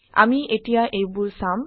আমি এতিয়া এইবোৰ চাম